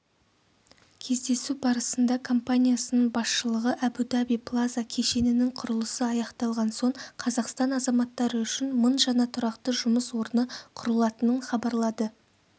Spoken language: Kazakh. кездесу барысында компаниясының басшылығы әбу-даби плаза кешенінің құрылысы аяқталған соң қазақстан азаматтары үшін мың жаңа тұрақты жұмыс орны құрылатынын хабарлады